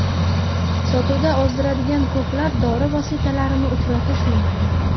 Sotuvda ozdiradigan ko‘plab dori vositalarini uchratish mumkin.